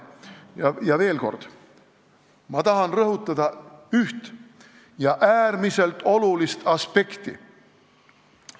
Ma tahan veel kord rõhutada üht äärmiselt olulist aspekti.